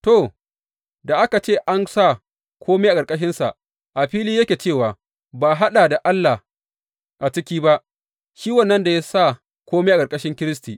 To, da aka ce an sa kome a ƙarƙashinsa, a fili yake cewa ba a haɗa da Allah a ciki ba, shi wannan da ya sa kome a ƙarƙashin Kiristi.